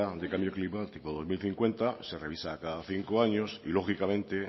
de cambio climático dos mil cincuenta se revisa cada cinco años y lógicamente